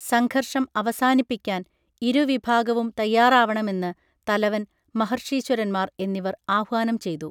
സംഘർഷം അവസാനിപ്പിക്കാൻ ഇരു വിഭാഗവും തയ്യാറാവണമെന്ന് തലവൻ മഹർഷീശ്വരന്മാർ എന്നിവർ ആഹ്വാനം ചെയ്തു